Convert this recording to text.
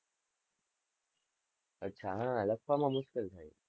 અચ્છા, હા, લખવામાં મુશ્કેલ થાય છે,